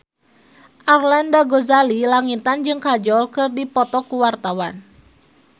Arlanda Ghazali Langitan jeung Kajol keur dipoto ku wartawan